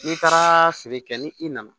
N'i taara feere kɛ ni i nana